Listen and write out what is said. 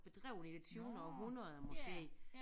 Bedrevet i det tyvende århundrede måske